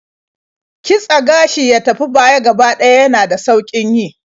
Kitse gashi ya tafi baya gaba ɗaya yana da sauƙin yi.